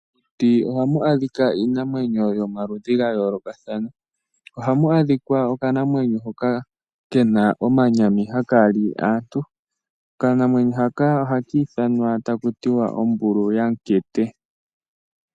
Mokuti oha mu adhika iinamwenyo yomaludhi ga yoolokathana oha mu adhika okanamwenyo hoka ke na omanyami haka li aantu. Okanamwenyo haka oha kiithwanwa taku ti wa Ombulu yaMukete.